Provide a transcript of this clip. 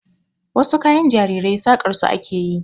Wasu kayan jarirai saƙar su ake yi.